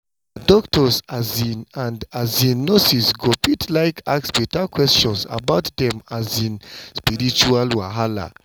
ah doctors um and um nurses go fit like ask beta questions about dem um spiritual wahala.